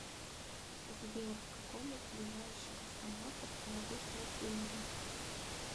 сбер в каком из ближайших автоматов я могу снять деньги